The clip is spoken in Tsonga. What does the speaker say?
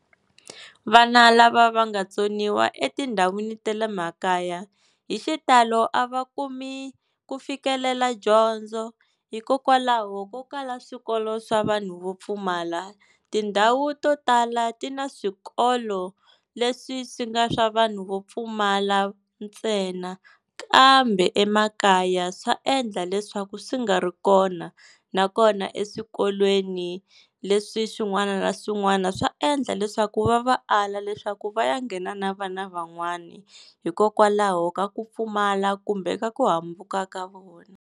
Vana lava va nga tsoniwa etindhawini ta le makaya, hi xitalo a va kumi ku fikelela dyondzo hikokwalaho ko kala swikolo swa vanhu vo pfumala. Tindhawu to tala ti na swikolo leswi swi nga swa vanhu vo pfumala ntsena, kambe emakaya swa endla leswaku swi nga ri kona na kona eswikolweni leswi swin'wana na swin'wana swa endla leswaku va va ala leswaku va ya nghena na vana van'wani, hikokwalaho ka ku pfumala kumbe ka ku hambuka ka vona.